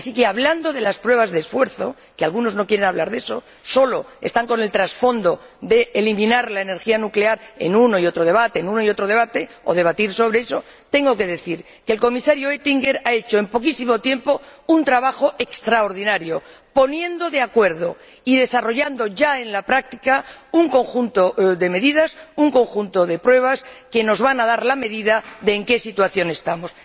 Así es que, hablando de las pruebas de esfuerzo —porque algunos no quieren hablar de eso, solo están con el transfondo de eliminar la energía nuclear en uno y otro debate, o debatir sobre eso—, tengo que decir que el Comisario Oettinger ha hecho en poquísimo tiempo un trabajo extraordinario, poniendo de acuerdo y desarrollando ya, en la práctica, un conjunto de medidas, un conjunto de pruebas que nos van a dar la medida de la situación en la que estamos.